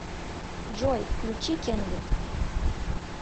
джой включи кенви